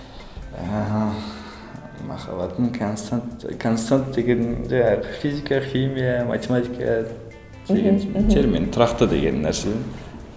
махаббатым констант констант дегенде физика химия матиматика термин тұрақты деген нәрсе